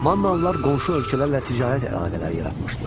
Mannalılar qonşu ölkələrlə ticarət əlaqələri yaratmışdılar.